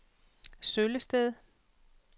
Søllested